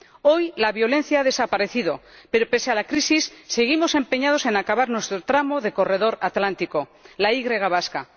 Hoy la violencia ha desaparecido, pero pese a la crisis, seguimos empeñados en acabar nuestro tramo de corredor Atlántico, la Y vasca.